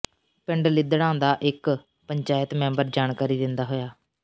ਪਿੰਡ ਲਿੱਦੜਾਂ ਦਾ ਇਕ ਪੰਚਾਇਤ ਮੈਂਬਰ ਜਾਣਕਾਰੀ ਦਿੰਦਾ ਹੋਇਆ